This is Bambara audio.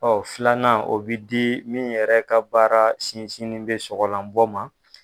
Ɔ filanan o bɛ di min yɛrɛ ka baara sinsinin bɛ soɔgɔlan bɔ ma.